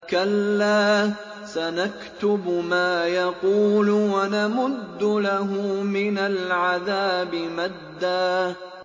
كَلَّا ۚ سَنَكْتُبُ مَا يَقُولُ وَنَمُدُّ لَهُ مِنَ الْعَذَابِ مَدًّا